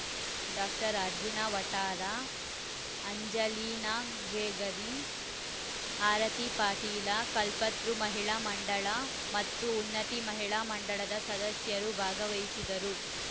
doctor Arjuna Vathara Angelina Gregory Arati Patil Kalpataru Mahila Mandala ಮತ್ತು ಉನ್ನತಿ ಮಹಿಳಾ ಮಂಡಳದ ಸದಸ್ಯರು ಭಾಗವಹಿಸಿದರು